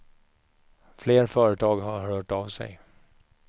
Fler företag har hört av sig.